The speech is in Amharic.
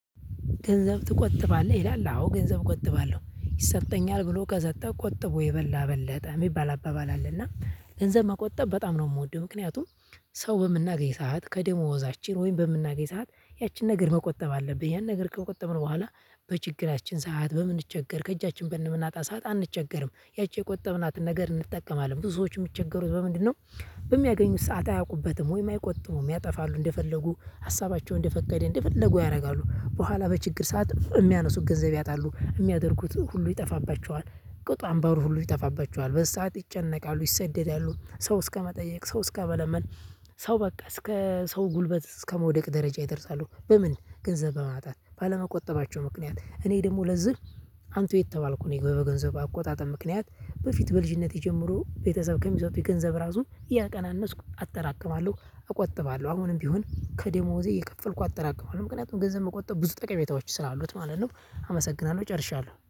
ገንዘብ ትቆጥባለህ ይላል? አዎ ገንዘብ እቆጥባለሁ ይሰጠኛል ብሎ ከሰጠ ቆጥቦ የበላ በለጠ የሚባል አባባል አለና ገንዘብ መቆጠብ በጣም ነው የምወደው። ምክንያቱም ሰው በምናገኝ ሰዓት ከደሞዛችን ወይም በምናገኝ ሰዓት ያችን ነገር መቆጠብ አለብን። ያን ነገር ከቆጠብነው በኋላ በችግራችን ሰዓት በምንቸገር ከእጃችን በምናጣ ሰዓት አንቸገርም ያቺ የቆጠብናትን ነገር እንጠቀማለን። ብዙ ሰዎች የሚቸገሩት በምንድነው? በሚያገኙት ሰዓት አያውቁበትም ወይም አይቆጥቡም ያጠፋሉ እንደፈለጉ ሀሳባቸውን እንደፈቀደ እንደፈለጉ ያደርጋሉ በኋላ በችግር ሰዓት የሚያነሱት ገንዘብ ያጣሉ የሚያደርጉት ሁሉ ይጠፋባቸዋል። ቁጣንባሩ ሁሉ ይጠፋባቸዋል በዚህ ሰዓት ይጨነቃሉ ይሰደዳሉ ሰው እስከመጠየቅ ሰው እስከመለመን። ሰው በቃ እስከ ሰው ጉልበት እስከመውደቅ ደረጃ ይደርሳሉ። በምን ገንዘብ በማጣት ባለመቆጠባቸው ምክንያት። እኔ ደግሞ ለዚህ አንቱ የተባልኩ ነኝ። በገንዘብ አቆጣጠብ ምክንያት በፊት በልጅነቴ ጀምሮ ቤተሰብ ከሚሰጡኝ ገንዘብ እራሱ እያቀናነስኩ አጠራቅማለሁ። እቆጥባለሁ አሁንም ቢሆን ከደሞዜ እየከፈልኩ አጠራቅማለሁ። ምክንያቱም ገንዘብ መቆጠብ ብዙ ጠቀሜታዎች ስላሉት ማለት ነው። አመስግናለሁ ጨርሻለሁ